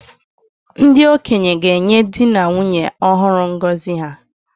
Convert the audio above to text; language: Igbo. Ndị okenye ga-enye di na nwunye ọhụrụ ngọzi ha